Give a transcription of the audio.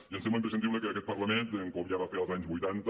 i em sembla imprescindible que aquest parlament com ja va fer als anys vuitanta